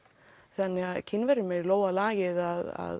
þannig að Kínverjum er í lófa lagið að